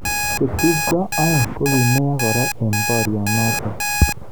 Chetubjo aeng kokimeiyo kora eng boryonotok.